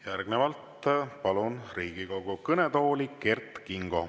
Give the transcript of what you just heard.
Järgnevalt palun Riigikogu kõnetooli Kert Kingo.